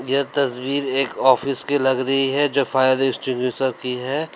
यह तस्वीर एक ऑफिस की लग रही है जो फायर एक्टिंग्विशर की है।